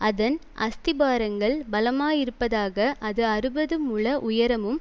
அதன் அஸ்திபாரங்கள் பலமாயிருப்பதாக அது அறுபது முழ உயரமும்